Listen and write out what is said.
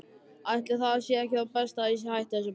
Ætli það sé ekki best að ég hætti þessu bara.